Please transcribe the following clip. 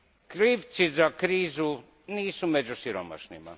Krivci za krizu nisu među siromašnima.